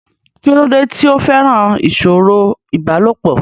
kí ló dé tí ó fẹ́ràn ìsọ̀rọ̀ ìbálòpọ̀?